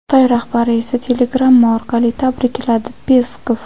Xitoy rahbari esa telegramma orqali tabrikladi — Peskov.